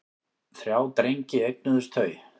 Þrjá drengi eignuðust þau.